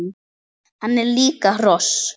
Hann er líka hross!